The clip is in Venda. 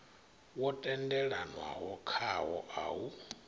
wo tendelanwaho khawo a u